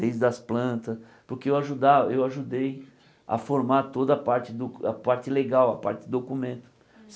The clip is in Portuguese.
Desde as plantas, porque eu ajuda eu ajudei a formar toda a parte do a parte legal, a parte documento.